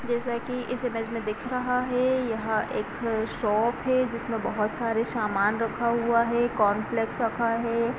जैसा कि इस इमेज में दिख रहा है यहां एक शॉप है जिसमें बहुत सारे समान रखा हुआ है| कॉर्नफ्लेक्स रखा है।